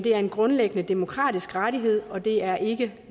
er en grundlæggende demokratisk rettighed og det er ikke